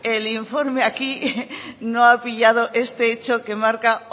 el informe aquí no ha pillado este hecho que marca